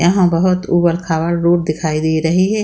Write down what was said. यहाँ बहुत उबड़-खाबड़ रोड दिखाई दे रही है।